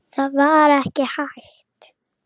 Það var ekki hægt.